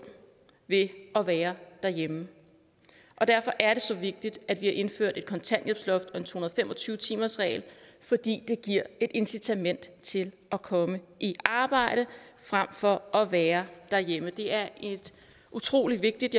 ved at være derhjemme derfor er det så vigtigt at vi har indført et kontanthjælpsloft og to hundrede og fem og tyve timersreglen fordi det giver et incitament til at komme i arbejde frem for at være derhjemme det er et utrolig vigtigt